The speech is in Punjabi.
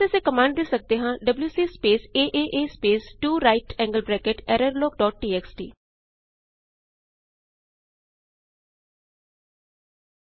ਇਸ ਵਾਸਤੇ ਅਸੀਂ ਕਮਾੰਡ ਦੇ ਸਕਦੇ ਹਾਂ WC space AAA space 2 right angled bracket error log dot txt